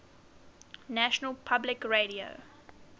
national public radio